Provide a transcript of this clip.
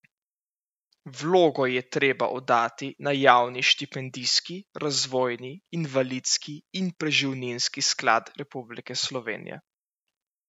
Vlogo je treba oddati na Javni štipendijski, razvojni, invalidski in preživninski sklad Republike Slovenije.